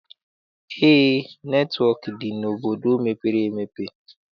Eé, netịwọk dị n'obodo mepere emepe.